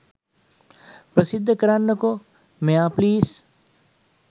ප්‍රසිද්ධ කරන්න කෝ මෙයා ප්ලීස්!